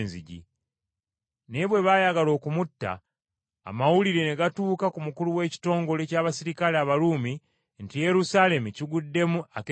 Naye bwe baayagala okumutta, amawulire ne gatuuka ku mukulu w’ekitongole ky’abaserikale Abaruumi nti Yerusaalemi kiguddemu akeegugungo.